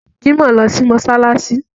Jimoh lọ sí mọ́ṣáláṣí